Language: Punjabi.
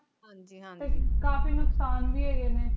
ਹਾਂਜੀ ਹਾਂਜੀ ਕਾਫੀ ਨੁਕਸਾਨ ਵੀ ਹੇਗੇ ਨੇ